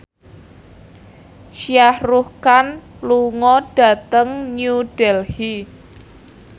Shah Rukh Khan lunga dhateng New Delhi